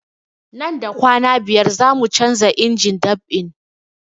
Nan da kwana biyar zamu canza injin dab'in